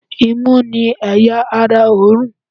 imú ni eya ará òorùn